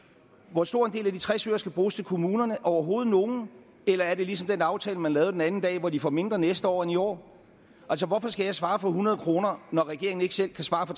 hvor stor en del af de tres øre skal bruges til kommunerne hvis overhovedet nogen eller er det ligesom den aftale man lavede den anden dag hvor de får mindre næste år end i år altså hvorfor skal jeg svare på hundrede kr når regeringen ikke selv kan svare